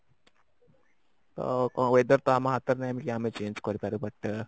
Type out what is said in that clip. weather ତ ଆମ ହାତରେ ନାହିଁ ଯେ ଆମେ change କରିପାରିବା ଟା